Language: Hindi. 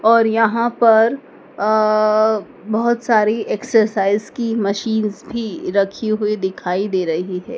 और यहां पर अ बहोत सारी एक्सरसाइज की मशीन भी रखी हुई दिखाई दे रही है।